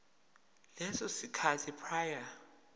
leso sikhathi prior